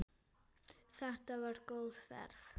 Þetta var góð ferð.